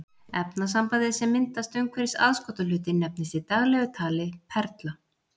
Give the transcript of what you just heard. Efnasambandið sem myndast umhverfis aðskotahlutinn nefnist í daglegu tali perla.